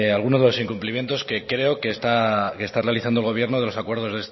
alguno de los incumplimientos que creo que está realizando el gobierno de los acuerdos